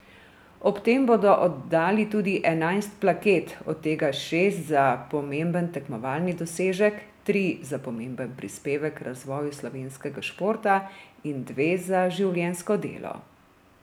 Ob tem bodo oddali tudi enajst plaket, od tega šest za pomemben tekmovalni dosežek, tri za pomemben prispevek k razvoju slovenskega športa in dve za življenjsko delo.